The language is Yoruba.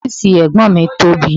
Ọ́fìsì ẹ̀gbọ́n mi tóbi